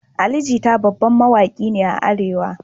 Ali Jita babban mawaki ne a arewa